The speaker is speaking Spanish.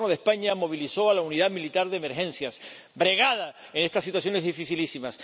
El Gobierno de España movilizó a la Unidad Militar de Emergencias, bregada en estas situaciones dificilísimas.